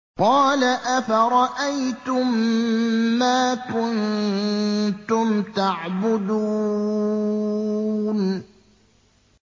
قَالَ أَفَرَأَيْتُم مَّا كُنتُمْ تَعْبُدُونَ